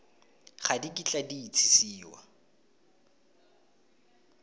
ga di kitla di itsisiwa